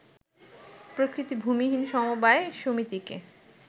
প্রকৃত ভূমিহীন সমবায় সমিতিকে